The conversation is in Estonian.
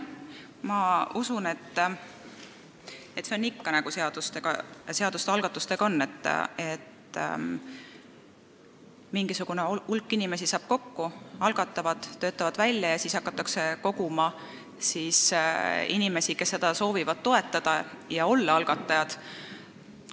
Ma usun, et see on nii nagu ikka eelnõude algatamisega – mingisugune hulk inimesi saab kokku, nad töötavad midagi välja ja siis hakatakse koguma nende allkirju, kes soovivad seda toetada ja olla algatajate hulgas.